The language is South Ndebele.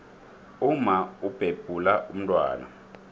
umma ubhebhula umntwana